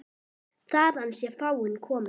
Þaðan sé fáninn kominn.